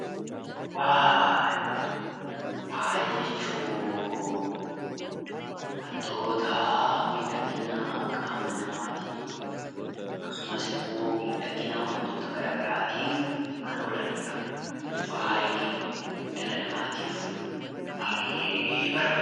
Faaya jechuun wantoota miidhagina qaama namaatiif akkasumas immoo miidhagina wantoota garaagaraatiif kan oolanidha. Faayi dhala namaatiif baay'ee barbaachisaadha.